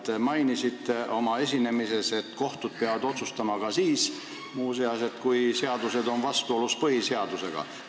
Te mainisite oma esinemises, et kohtud peavad otsustama ka siis, kui seadused on vastuolus põhiseadusega.